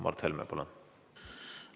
Mart Helme, palun!